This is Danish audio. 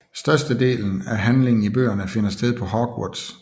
Størstedelen af handlingen i bøgerne finder sted på Hogwarts